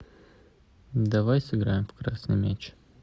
давай сыграем в красный мяч